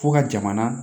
Fo ka jamana